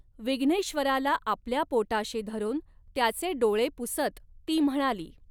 विघ्नेश्वराला आपल्या पोटाशी धरून त्याचे डोळे पुसत ती म्हणाली.